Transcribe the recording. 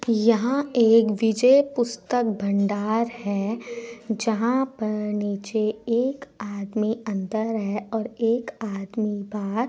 ये एक विजय पुस्तक भंडार है जहां पर नीचे एक आदमी अन्दर है और एक आदमी बाहर---